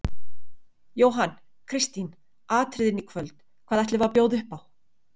Jóhann: Kristín, atriðin í kvöld, hvað ætlum við að bjóða upp á?